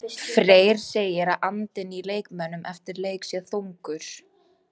Freyr segir að andinn í leikmönnum eftir leik sé þungur.